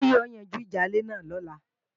Àwọn olóyè ó yanjú ìjà ilé náà lọ́la